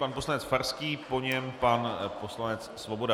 Pan poslanec Farský, po něm pan poslanec Svoboda.